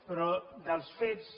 però dels fets